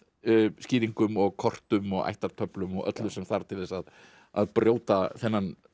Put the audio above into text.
skýringum og kortum og ættartöflum og öllu sem þarf til þess að að brjóta þennan